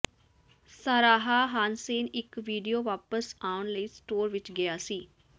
Sarah Hansen ਇੱਕ video ਵਾਪਸ ਆਉਣ ਲਈ ਸਟੋਰ ਵਿੱਚ ਗਿਆ ਸੀ